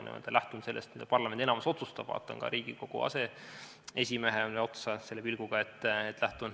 Ma lähtun sellest, mida parlamendi enamus otsustab, ja vaatan ka Riigikogu aseesimehele otsa selle pilguga.